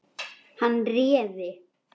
Hann réði.